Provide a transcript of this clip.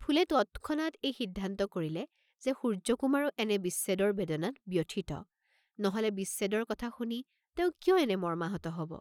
ফুলে তৎক্ষণাত এই সিদ্ধান্ত কৰিলে যে সূৰ্য্যকুমাৰো এনে বিচ্ছেদৰ বেদনাত ব্যথিত, নহলে বিচ্ছেদৰ কথা শুনি তেওঁ কিয় এনে মৰ্ম্মাহত হব?